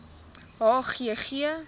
h g g